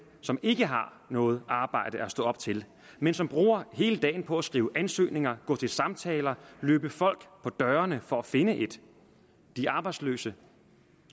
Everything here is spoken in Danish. som ikke har noget arbejde at stå op til men som bruger hele dagen på at skrive ansøgninger gå til samtaler og løbe folk på dørene for at finde et de arbejdsløse